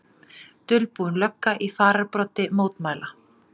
Dulbúin lögga í fararbroddi mótmæla